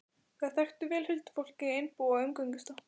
Þær þekktu vel huldufólkið í Einbúa og umgengust það.